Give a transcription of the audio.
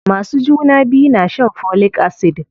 Masu juna biyu na shan folic acid.